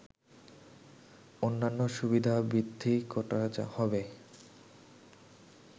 অন্যান্য সুবিধা বৃদ্ধি করা হবে